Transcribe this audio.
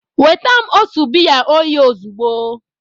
Weta m otu biya oyi ozugbo!